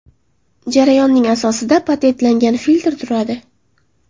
Jarayonning asosida patentlangan filtr turadi.